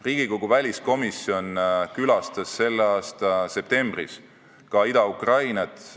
Riigikogu väliskomisjon külastas selle aasta septembris Ida-Ukrainat.